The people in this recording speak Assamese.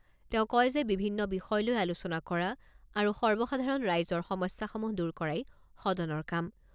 তেওঁ কয় যে বিভিন্ন বিষয় লৈ আলোচনা কৰা আৰু সৰ্বসাধাৰণ ৰাইজৰ সমস্যাসমূহ দূৰ কৰাই সদনৰ কাম।